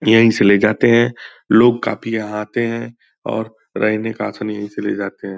यहीं से ले जाते हैं। लोग काफ़ी यहाँ आते हैं और रहने का आसन यहीं से ले जाते हैं।